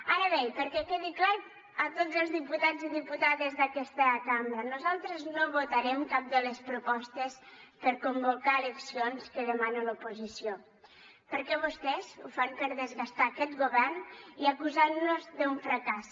ara bé i perquè quedi clar a tots els diputats i diputades d’aquesta cambra nosaltres no votarem cap de les propostes per convocar eleccions que demana l’oposició perquè vostès ho fan per desgastar aquest govern i acusar nos d’un fracàs